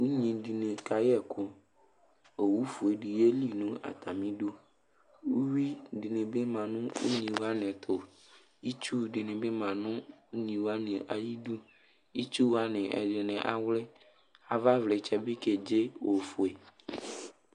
Unyi dɩnɩ kayɛ ɛkʋ Owufue dɩ yeli nʋ atamɩdu Uyui dɩnɩ bɩ ma nʋ unyi wanɩ tʋ Itsu dɩnɩ bɩ ma nʋ unyi wanɩ ayidu Itsu wanɩ ɛdɩnɩ awlɩ Avavlɩtsɛ bɩ kedze ofue